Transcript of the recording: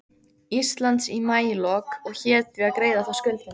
Íslands í maílok og hét því að greiða þá skuldina.